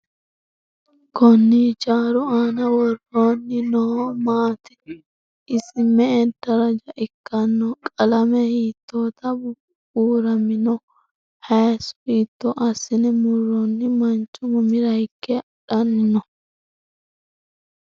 Konni hijjaru aanna worrenna noohu maatti? Isi me'e darajja ikkanno? Qalame hiittotta buuramminno? Hayiiso hiitto asinne muroonni mancho mamira hige hadhanni noo?